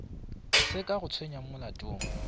se ka go tsenyago molatong